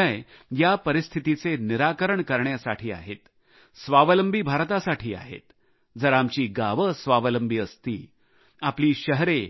हे निर्णय या परिस्थितीचे निराकरण करण्यासाठी आहेत स्वावलंबी भारतासाठी आहेत जर आमची गावे स्वावलंबी असती आपली शहरे